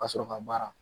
Ka sɔrɔ ka baara